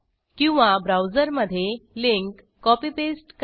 किंवा ब्राउझर मध्ये link copy paste करा